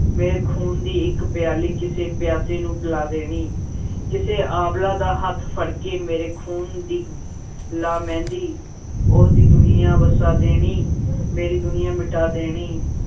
ਮੇਰੇ ਖ਼ੂਨ ਦੀ ਇੱਕ ਪਿਆਲੀ, ਕਿਸੇ ਪਿਆਸੇ ਨੂੰ ਪਿਲਾ ਦੇਣੀ ਕਿਸੇ ਅਬਲਾ ਦਾ ਹੱਥ ਫੜਕੇ, ਮੇਰੇ ਖ਼ੂਨ ਦੀ ਲਾ ਮਹਿੰਦੀ, ਉਹਦੀ ਦੁਨੀਆਂ ਵਸਾ ਦੇਣੀ ਮੇਰੀ ਦੁਨੀਆਂ ਮਿਟਾ ਦੇਣੀ।